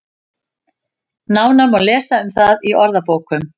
Nánar má lesa um það í orðabókum.